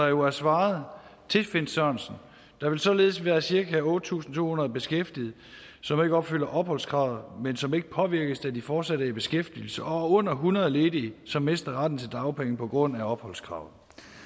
jo svaret herre finn sørensen der vil således være cirka otte tusind to hundrede beskæftigede som ikke opfylder opholdskravet men som ikke påvirkes da de fortsat er i beskæftigelse og under hundrede ledige som mister retten til dagpenge på grund af opholdskravet